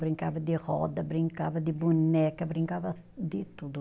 Brincava de roda, brincava de boneca, brincava de tudo.